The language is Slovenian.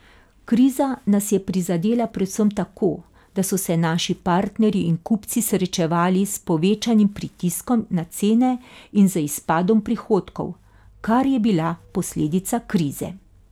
Kriza nas je prizadela predvsem tako, da so se naši partnerji in kupci srečevali s povečanim pritiskom na cene in z izpadom prihodkov, kar je bila posledica krize.